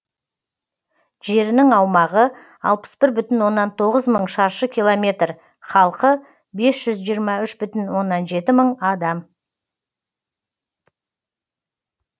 жерінің аумағы алпыс бір бүтін оннан тоғыз мың шаршы километр халқы бес жүз жиырма үш бүтін оннан жеті мың адам